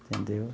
Entendeu?